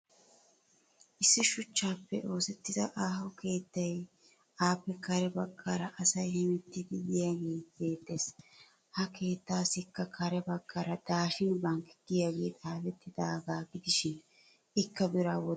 Issi shuchchaappe oosettida aaho keetayinne appe kare baggaara asay hemettiiddi de'iyaagee beettes. Ha keettassikka kare baggaara daashin bank giyaagee xaafettidaaga gidishin ikka biraa wottanawu maaddiya keettaa.